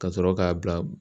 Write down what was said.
Ka sɔrɔ k'a bila